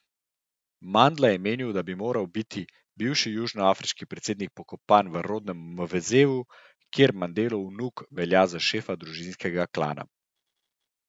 Mandla je menil, da bi moral biti bivši južnoafriški predsednik pokopan v rodnem Mvezu, kjer Mandelov vnuk velja za šefa družinskega klana.